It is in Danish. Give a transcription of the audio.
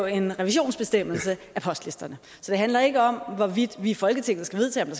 en revisionsbestemmelse af postlisterne så det handler ikke om hvorvidt vi i folketinget skal vedtage